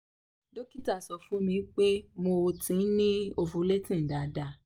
dókítà sọ fún mi pé mo um ti ni ovulating daadaa